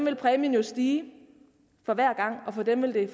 at præmien vil stige for hver gang for dem vil det